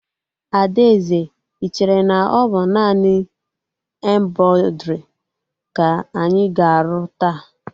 Adaeze, I chere na ọ bụ naanị embrọidrii ka anyị ga-arụ taa?